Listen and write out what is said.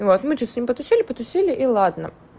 и вот мы чуть с ним потусили потусили и ладно